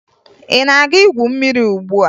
Ị na-aga igwu mmiri ugbua?